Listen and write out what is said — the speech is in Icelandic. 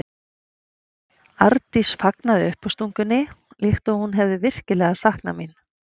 Arndís fagnaði uppástungunni líkt og hún hefði virkilega saknað mín.